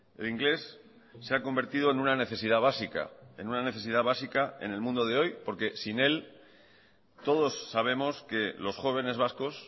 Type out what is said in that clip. el inglés se ha convertido en una necesidad básica en una necesidad básica en el mundo de hoy porque sin él todos sabemos que los jóvenes vascos